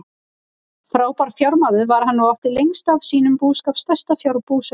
Frábær fjármaður var hann og átti lengst af sínum búskap stærsta fjárbú sveitarinnar.